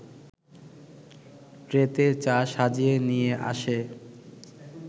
ট্রেতে চা সাজিয়ে নিয়ে আসে